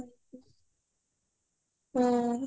ହଁ